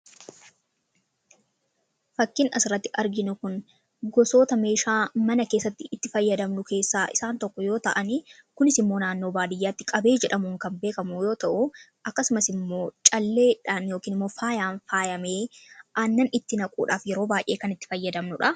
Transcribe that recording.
Fakkin asirratti arginu kun gosoota meeshaa mana keessatti itti fayyadamnu keessaa isaan tokko yoo ta'ani kunis immoo naannoo baadiyyaatti qabee jedhamuun kan beekamu yoo ta'u akkasumas immoo calleedhaan yookiin moffaayaan faayamee annan itti naquudhaaf yeroo baay'ee kan itti fayyadamnu dha.